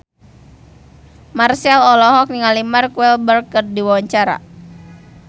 Marchell olohok ningali Mark Walberg keur diwawancara